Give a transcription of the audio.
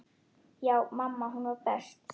Já, mamma hún var best.